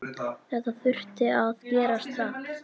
Þetta þurfti að gerast hratt.